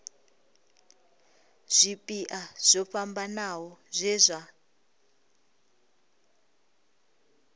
zwipia zwo fhambanaho zwe zwa